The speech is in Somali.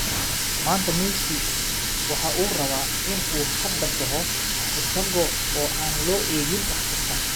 maanta Messi waxa uu rabaa in uu hadda baxo iyada oo aan loo eegin wax kasta.